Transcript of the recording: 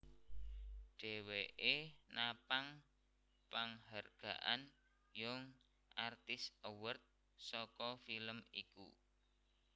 Dheweke napang panghargaan Young Artist award saka film iku